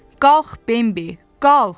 Qalx, Bembi, qalx!